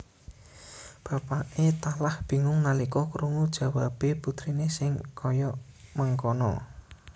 Bapakke talah bingung nalika krungu jawabe putrine sing kaya mengkana